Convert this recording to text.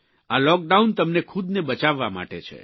આ લૉકડાઉન તમને ખુદને બચાવવા માટે છે